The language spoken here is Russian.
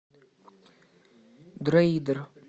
дроидер